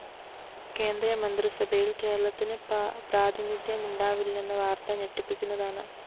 കേന്ദ്രമന്ത്രിസഭയില്‍ കേരളത്തിന്‌ പ്രാതിനിധ്യമുണ്ടാവില്ലെന്ന വാര്‍ത്ത ഞെട്ടിപ്പിക്കുന്നതാണ്‌